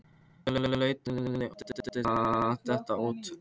Hann laut höfði og virtist vera að detta út af.